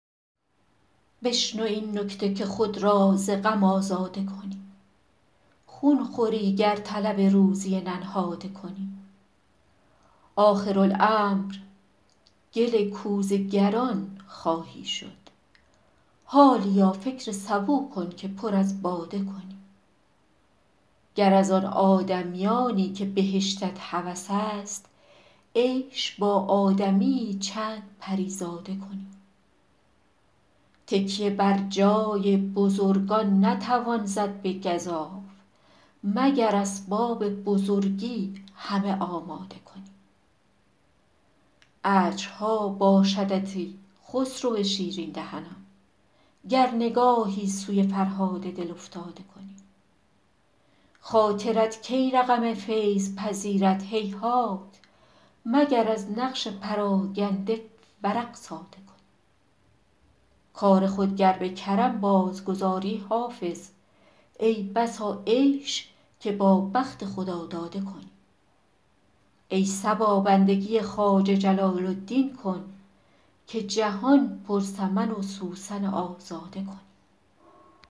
بشنو این نکته که خود را ز غم آزاده کنی خون خوری گر طلب روزی ننهاده کنی آخرالامر گل کوزه گران خواهی شد حالیا فکر سبو کن که پر از باده کنی گر از آن آدمیانی که بهشتت هوس است عیش با آدمی یی چند پری زاده کنی تکیه بر جای بزرگان نتوان زد به گزاف مگر اسباب بزرگی همه آماده کنی اجرها باشدت ای خسرو شیرین دهنان گر نگاهی سوی فرهاد دل افتاده کنی خاطرت کی رقم فیض پذیرد هیهات مگر از نقش پراگنده ورق ساده کنی کار خود گر به کرم بازگذاری حافظ ای بسا عیش که با بخت خداداده کنی ای صبا بندگی خواجه جلال الدین کن که جهان پر سمن و سوسن آزاده کنی